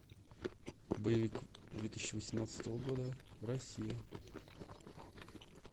боевик две тысячи восемнадцатого года россия